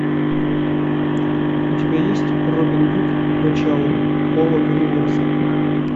у тебя есть робин гуд начало пола гринграсса